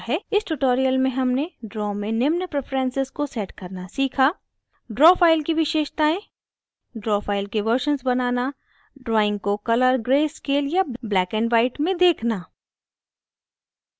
इस tutorial में हमने draw में निम्न preferences को set करना सीखा: